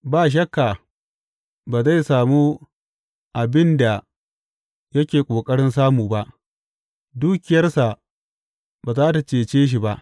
Ba shakka ba zai samu abin da yake ƙoƙarin samu ba, dukiyarsa ba za tă cece shi ba.